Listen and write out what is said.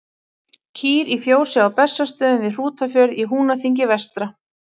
Kýr í fjósi á Bessastöðum við Hrútafjörð í Húnaþingi vestra.